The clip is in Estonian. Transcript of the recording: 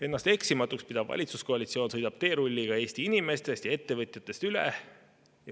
Ennast eksimatuks pidav valitsuskoalitsioon sõidab teerulliga Eesti inimestest ja ettevõtjatest üle.